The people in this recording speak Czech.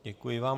Děkuji vám.